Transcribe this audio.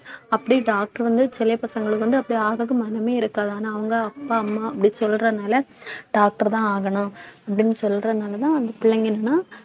அப்படியே doctor வந்து சில பசங்களுக்கு வந்து அப்படி ஆக மனமே இருக்காது ஆனா அவங்க அப்பா அம்மா அப்படி சொல்றதுனால doctor தான் ஆகணும் அப்படின்னு சொல்றதுனாலதான் அந்த பிள்ளைங்க எல்லாம்